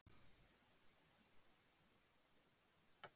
En ætlar forsetinn að heimsækja fleiri staði?